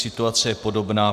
Situace je podobná.